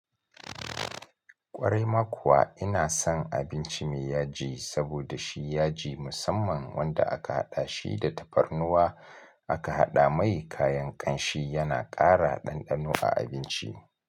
Kwarai ma kuwa ina son abinci mai yaji, saboda shi yaji musamman wanda aka haɗa shi da tafarnuwa aka haɗa mai kayan ƙanshi yana ƙara ɗanɗano a abinci.